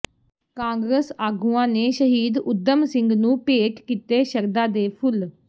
ਕਾਂਗਰਸ ਆਗੂਆਂ ਨੇ ਸ਼ਹੀਦ ਊਧਮ ਸਿੰਘ ਨੂੰ ਭੇਟ ਕੀਤੇ ਸ਼ਰਧਾ ਦੇ ਫੁੱਲ